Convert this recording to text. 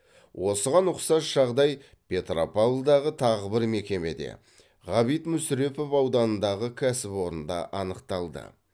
осыған ұқсас жағдай петропавлдағы тағы бір мекемеде ғабит мүсірепов ауданындағы кәсіпорында анықталды